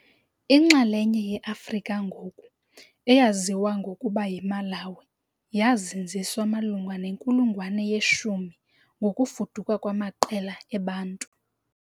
Inxalenye yeAfrika ngoku eyaziwa ngokuba yiMalawi yazinziswa malunga nenkulungwane ye-10 ngokufuduka kwamaqela e-Bantu .